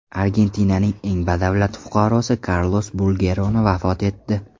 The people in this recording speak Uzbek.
Argentinaning eng badavlat fuqarosi Karlos Bulgeroni vafot etdi.